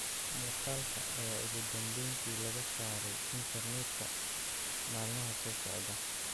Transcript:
muuqaalka ayaa ugu dambeyntii laga saaray internetka maalmaha soo socda.